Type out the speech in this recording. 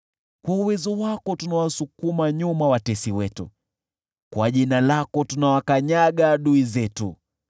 Kwa uwezo wako tunawasukuma nyuma watesi wetu; kwa jina lako tunawakanyaga adui zetu.